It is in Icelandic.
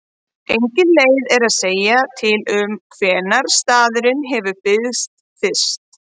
Engin leið er að segja til um hvenær staðurinn hefur byggst fyrst.